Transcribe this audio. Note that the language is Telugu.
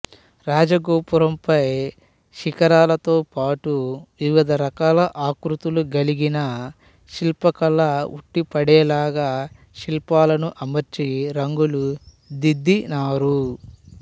రాజగోపురంపై శిఖరాలతోపాటు వివిధ రకాల ఆకృతులు గలిగిన శిల్పకళ ఉట్టిపడేలాగా శిల్పాలను అమర్చి రంగులు దిద్దినారు